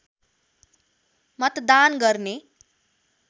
मतदान गर्ने